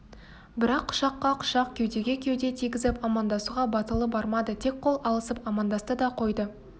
бірақ құшаққа құшақ кеудеге кеуде тигізіп амандасуға батылы бармады тек қол алысып амандасты да қойды